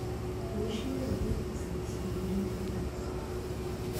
Boisie rodenticides ikirinde rodents